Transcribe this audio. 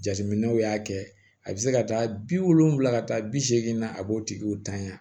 Jateminɛw y'a kɛ a bɛ se ka taa bi wolonfila ka taa bi seegin na a b'o tigiw tanya